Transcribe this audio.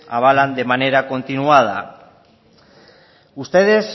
avalan de manera continuada ustedes